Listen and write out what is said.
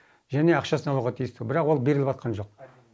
және ақшасын алуға тиісті бірақ ол беріліватқан жоқ